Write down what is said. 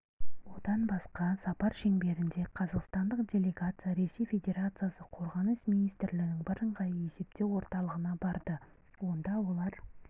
одан басқа сапар шеңберінде қазақстандық делегация ресей федерациясы қорғаныс министрлігінің бірыңғай есептеу орталығына барды онда олар